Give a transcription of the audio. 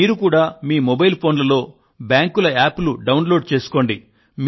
మీరు కూడా మీ మొబైల్ ఫోన్ లలో బ్యాంకుల యాప్ లు డౌన్ లోడ్ చేసుకోండి